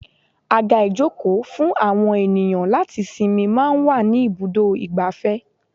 Àga ìjókòó fún àwọn ènìyàn láti sinmi máa ń wà ní ibùdó igbàfẹ́.